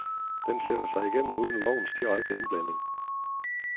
Den sætter sig igennem uden lovens direkte indblanding.